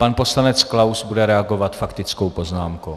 Pan poslanec Klaus bude reagovat faktickou poznámkou.